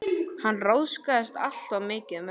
Hann ráðskaðist alltof mikið með mig.